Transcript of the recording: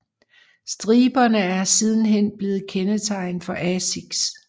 Striberne er sidenhen blevet kendetegnet for Asics